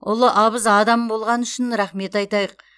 ұлы абыз адам болғаны үшін рахмет айтайық